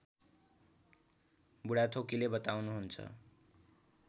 बुढाथोकीले बताउनुहुन्छ